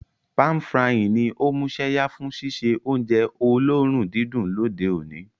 Pan-frying ní o músẹ́yá fun síse ounje olóòrun didùn lóde oní